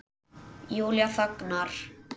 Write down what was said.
Júlía þagnar.